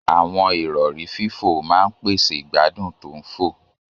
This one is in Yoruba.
Àwọn ìrọ̀rí fífò máa ń pèsè ìgbádùn tó ń fò.